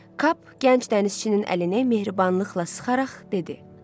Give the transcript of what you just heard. Kap gənc dənizçinin əlini mehribanlıqla sıxaraq dedi: